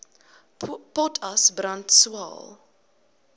potas brand swael